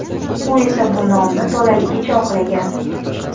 U esa bu nomni to‘laligicha oqlagan.